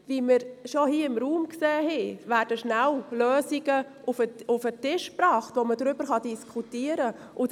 Wie wir bereits hier im Ratssaal gesehen haben, werden rasch Lösungen auf den Tisch gebracht, über die man diskutieren kann.